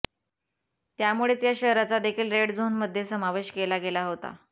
त्यामुळेच या शहराचा देखील रेड झोन मध्ये समावेश केला गेला होता